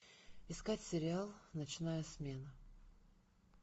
искать сериал ночная смена